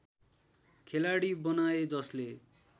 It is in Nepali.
खेलाडी बनाए जसले